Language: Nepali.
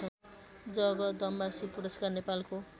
जगदम्बाश्री पुरस्कार नेपालको